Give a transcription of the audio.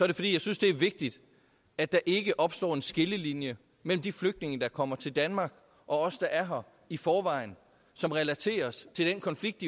det fordi jeg synes det er vigtigt at der ikke opstår en skillelinje mellem de flygtninge der kommer til danmark og os der er her i forvejen som relaterer sig til den konflikt